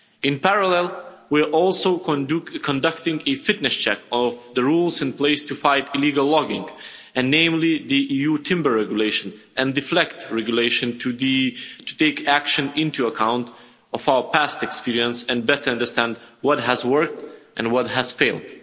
In parallel, we are also conducting a fitness check of the rules in place to fight illegal logging, namely the EU timber regulation and the FLEGT regulation, to take action into account of our past experience and better understand what has worked and what has failed.